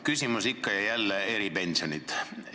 Küsimus ikka ja jälle: eripensionid.